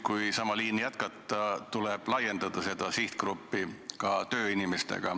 Kui sama liini jätkata, siis tuleb seda sihtgruppi laiendada, hõlmata ka tööinimesed.